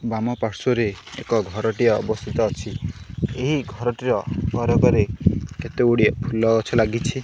ବାମ ପାର୍ଶ୍ବରେ ଏକ ଘରଟିଏ ଅବସ୍ଥିତ ଅଛି ଏହି ଘରଟିର କେତେଗୁଡିଏ ଫୁଲ ଗଛ ଲାଗିଛି।